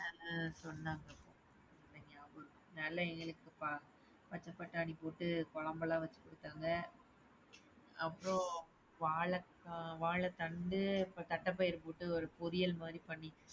சொன்னாங்க பச்ச பட்டாணி போட்டு குழம்புலாம் வச்சு குடுத்தாங்க. வாழக்கா வாழைத்தண்டு தட்டப்பயறு போட்டு ஒரு பொரியல் மாரி பண்ணித்தந்தாங்க.